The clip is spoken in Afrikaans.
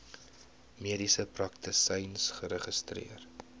mediese praktisyn geregistreer